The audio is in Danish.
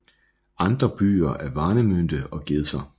Andre byer er Warnemünde og Gedser